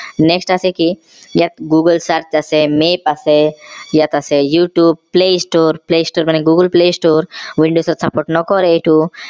next আছে কি ইয়াত google search আছে map আছে ইয়াত আছে youtube play store play store মানে google play store windows ত support নকৰে এইটো